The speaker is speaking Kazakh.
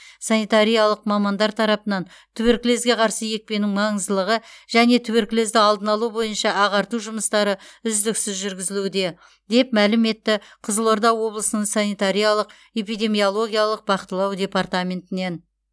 санитариялық мамандар тарапынан туберкулезге қарсы екпенің маңыздылығы және туберкулезді алдын алу бойынша ағарту жұмыстары үздіксіз жүргізілуде деп мәлім етті қызылорда облысының санитариялық эпидемиологиялық бақылау департаментінен